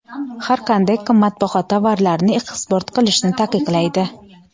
har qanday qimmatbaho tovarlarni eksport qilishni taqiqlaydi.